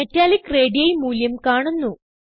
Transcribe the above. metallic radii മൂല്യം കാണുന്നു